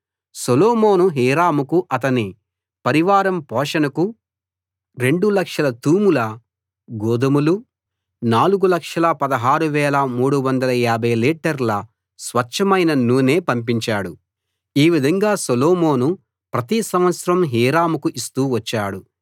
సొలొమోను హీరాముకూ అతని పరివారం పోషణకు 200000 తూముల గోదుమలు 4 16 350 లీటర్ల స్వచ్ఛమైన నూనె పంపించాడు ఈ విధంగా సొలొమోను ప్రతి సంవత్సరం హీరాముకు ఇస్తూ వచ్చాడు